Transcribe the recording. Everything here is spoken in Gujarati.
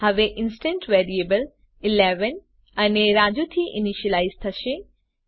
હવે ઇન્સ્ટંસ વેરીએબલ 11 અને રાજુ થી ઇનીશલાઈઝ થશે